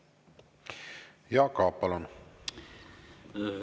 Jaak Aab, palun!